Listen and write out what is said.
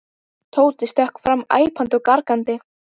Tóti stökk fram æpandi og gargandi.